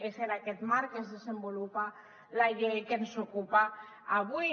és en aquest marc que es desenvolupa la llei que ens ocupa avui